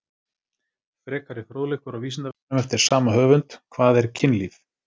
Frekari fróðleikur á Vísindavefnum eftir sama höfund: Hvað er kynlíf?